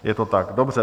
Je to tak, dobře.